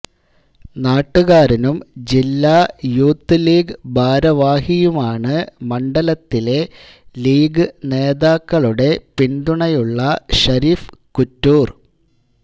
നാട്ടുകാരനും ജില്ലാ youth league ഭാരവാഹിയുമാണ് മണ്ഡലത്തിലെ ലീഗ് നേതാക്കളുടെ പിന്തുണയുള്ള ഷരീഫ് കുറ്റൂർ